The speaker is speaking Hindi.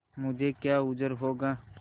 मुझे क्या उज्र होगा